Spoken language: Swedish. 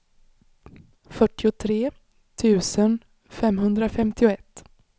fyrtiotre tusen femhundrafemtioett